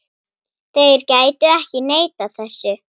Þeir gætu ekki neitað þessu.